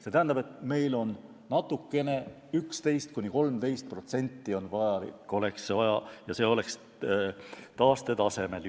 See tähendab, et meil on natukene, 11–13% juurde vaja, ja juba oleme taastetasemel.